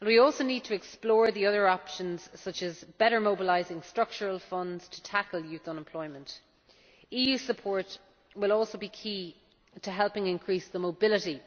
And we also need to explore the other options, such as better mobilising structural funds to tackle youth unemployment. EU support will also be key to helping increase the mobility